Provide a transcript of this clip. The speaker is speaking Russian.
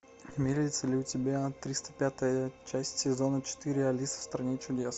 имеется ли у тебя триста пятая часть сезона четыре алиса в стране чудес